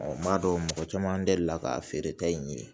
n b'a dɔn mɔgɔ caman delila ka feere ta in ye